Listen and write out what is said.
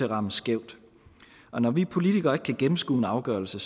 ramme skævt og når vi politikere ikke kan gennemskue en afgørelse